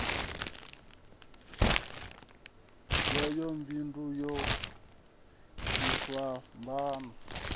yayo buli ḓo itaho tshifhambano